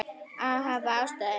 Af hvaða ástæðu?